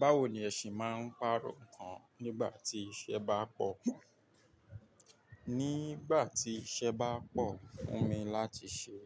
Báwo ni ẹ se máa ń pàrọ̀ ọkàn nígbà tí iṣẹ́ bá pọ̀? Nígbà tí iṣẹ́ bá pọ̀ fún mi láti ṣe,